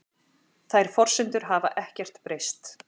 Þær forsendur hafi ekkert breyst